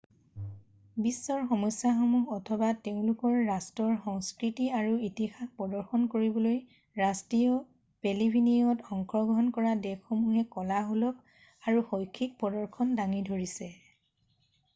বিশ্বৰ সমস্যাসমূহ অথবা তেওঁলোকৰ ৰাষ্ট্ৰৰ সংস্কৃতি আৰু ইতিহাস প্ৰদৰ্শন কৰিবলৈ ৰাষ্ট্ৰীয় পেভিলিয়নত অংশগ্ৰহণ কৰা দেশসমূহে কলাসুলভ আৰু শৈক্ষিক প্ৰদৰ্শন দাঙি কৰিছে